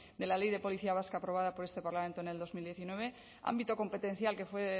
de la ley de policía vasca aprobada por este parlamento en dos mil diecinueve ámbito competencial que fue